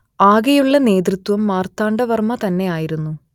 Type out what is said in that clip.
അകെയുള്ള നേതൃത്വം മാർത്താണ്ഡ വർമ്മ തന്നെയായിരുന്നു